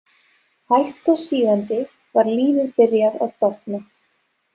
Hægt og sígandi var lífið byrjað að dofna.